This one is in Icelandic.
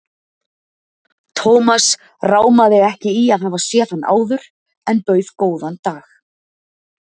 Thomas rámaði ekki í að hafa séð hann áður en bauð góðan dag.